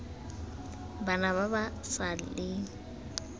bana ba ba sa leng